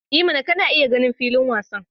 I mana! kana iya ganin filin wasan.